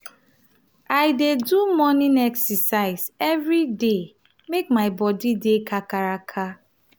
i dey do morning exercise every day make my body dey kakaraka.